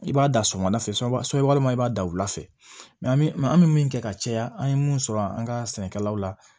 I b'a da sɔgɔma da fɛ sɔ walima i b'a da wula fɛ an bɛ maa an mi min kɛ ka caya an ye mun sɔrɔ an ka sɛnɛkɛlaw la